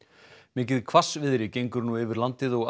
mikið hvassviðri gengur nú yfir landið og